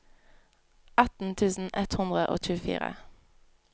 atten tusen ett hundre og tjuefire